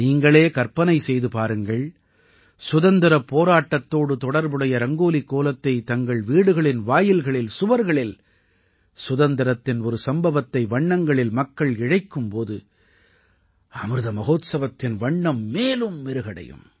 நீங்களே கற்பனை செய்து பாருங்கள் சுதந்திரப் போராட்டத்தோடு தொடர்புடைய ரங்கோலிக் கோலத்தைத் தங்கள் வீடுகளின் வாயில்களில் சுவர்களில் சுதந்திரத்தின் ஒரு சம்பவத்தை வண்ணங்களில் மக்கள் இழைக்கும் போது அமிர்த மஹோத்சவத்தின் வண்ணம் மேலும் மெருகடையும்